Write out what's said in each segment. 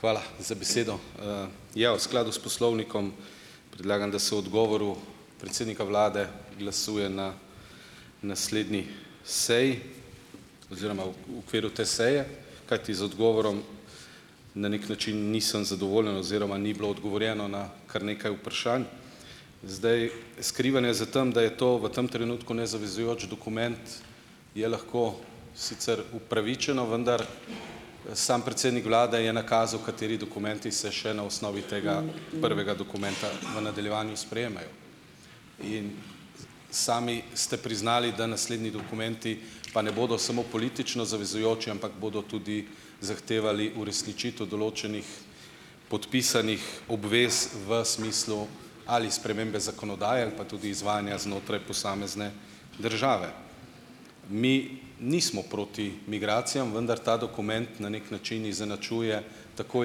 Hvala za besedo. Ja, v skladu s poslovnikom predlagam, da se odgovoru predsednika vlade glasuje na naslednji seji oziroma v v okviru te seje, kajti z odgovorom na neki način nisem zadovoljen oziroma ni bilo odgovorjeno na kar nekaj vprašanj. Zdaj, skrivanje za tem, da je to v tem trenutku nezavezujoč dokument, je lahko sicer upravičeno, vendar sam predsednik vlade je nakazal, kateri dokumenti se še na osnovi tega prvega dokumenta v nadaljevanju sprejemajo, in sami ste priznali, da naslednji dokumenti pa ne bodo samo politično zavezujoči, ampak bodo tudi zahtevali uresničitev določenih podpisanih obvez v smislu ali spremembe zakonodaje ali pa tudi izvajanja znotraj posamezne države. Mi nismo proti migracijam, vendar ta dokument na neki način izenačuje tako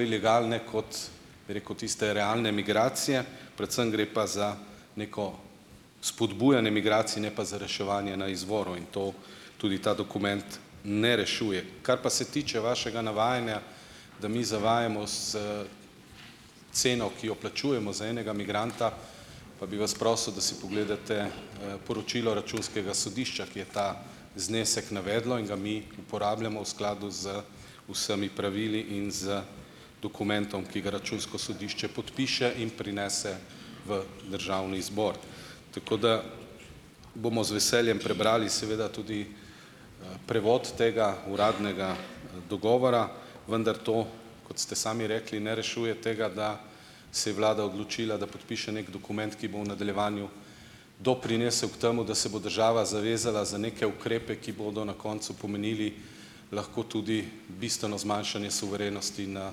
ilegalne kot, bi rekel, tiste realne migracije, predvsem gre pa za neko spodbujanje migracij, ne pa za reševanje na izvoru in to tudi ta dokument ne rešuje. Kar pa se tiče vašega navajanja, da mi zavajamo s ceno, ki jo plačujemo za enega migranta, pa bi vas prosil, da si pogledate, poročilo računskega sodišča, ki je ta znesek navedlo in ga mi uporabljamo v skladu z vsemi pravili in z dokumentom, ki ga računsko sodišče podpiše in prinese v državni zbor. Tako da bomo z veseljem prebrali seveda tudi, prevod tega uradnega, dogovora, vendar to - kot ste sami rekli - ne rešuje tega, da se je vlada odločila, da podpiše neki dokument, ki bo v nadaljevanju doprinesel k temu, da se bo država zavezala za neke ukrepe, ki bodo na koncu pomenili lahko tudi bistveno zmanjšanje suverenosti na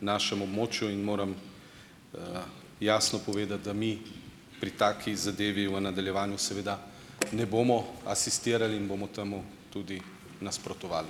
našem območju, in moram jasno povedati, da mi pri taki zadevi v nadaljevanju seveda ne bomo asistirali in bomo temu tudi nasprotovali.